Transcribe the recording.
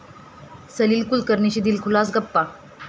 सलील कुलकर्णीशी दिलखुलास गप्पा